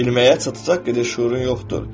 Bilməyə çatacaq qədər şüurun yoxdur.